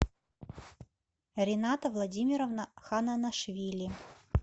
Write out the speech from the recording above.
рената владимировна хананашвили